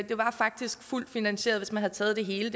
var faktisk fuldt finansieret hvis man havde taget det hele